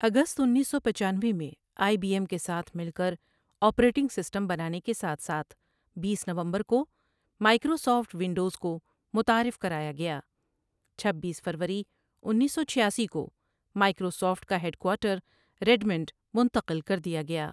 اگست انیس سو پچانوے میں آئی بی ایم کے ساتھ مل کر آپریٹنگ سسٹم بنانے کے ساتھ ساتھ٬ بیس نومبر کو مائیکروسافٹ ونڈوز کو متعارف کرایا گیا چھبیس فروری انیس سو چھیاسی کو مائیکروسافٹ کا ہیڈکوارٹر ریڈمنڈ منتقل کر دیا گیا ۔